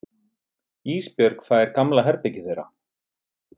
Ísbjörg fær gamla herbergið þeirra.